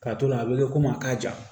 Ka to la a bɛ kɛ komi a ka ja